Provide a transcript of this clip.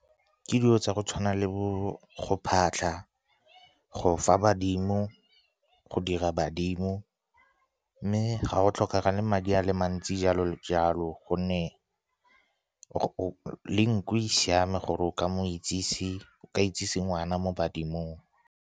Ke dilo tsa go tshwana le bo go phatlha, go fa badimo, go dira badimo. Mme ga go tlhokagale madi a le mantsi jalo le jalo, gonne le nku e siame gore o ka itsise ngwana mo badimong.